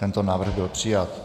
Tento návrh byl přijat.